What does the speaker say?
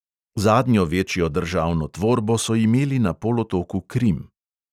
Zadnjo večjo državno tvorbo so imeli na polotoku krim.